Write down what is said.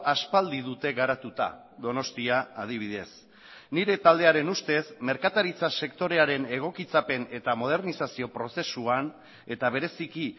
aspaldi dute garatuta donostia adibidez nire taldearen ustez merkataritza sektorearen egokitzapen eta modernizazio prozesuan eta bereziki